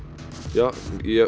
já ég